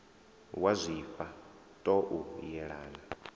wa zwifha ṱo u yelana